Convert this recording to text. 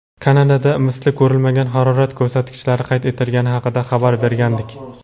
Kanadada misli ko‘rilmagan harorat ko‘rsatkichlari qayd etilgani haqida xabar bergandik.